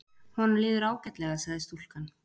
Honum líður ágætlega sagði stúlkan.